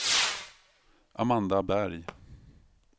Amanda Berg